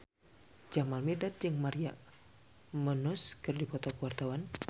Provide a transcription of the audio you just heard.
Jamal Mirdad jeung Maria Menounos keur dipoto ku wartawan